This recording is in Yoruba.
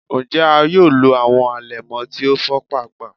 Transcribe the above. Njẹ a yoo lo awọn alẹmọ ti o fọ paapaa?